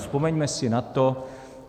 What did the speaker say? Vzpomeňme si na to.